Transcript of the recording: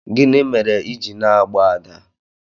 gini mere i ji na-agba Ada?